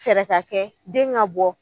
Fɛɛrɛ ka kɛ den ŋa bɔ